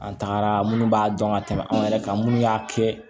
An tagara minnu b'a dɔn ka tɛmɛ anw yɛrɛ kan minnu y'a kɛ